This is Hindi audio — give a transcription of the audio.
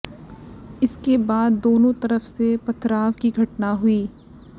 इसके बाद दोनों तरफ से पथराव की घटना हुई